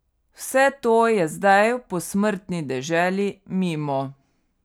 Vse to je zdaj v posmrtni deželi mimo.